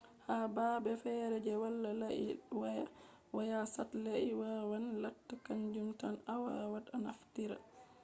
ha baabe feere je wala layi waya waya satelait wawan latta kanjum tan a wawat a naftira